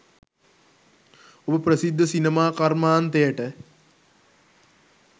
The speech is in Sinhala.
ඔබ ප්‍රසිද්ධ සිනමා කර්මාන්තයට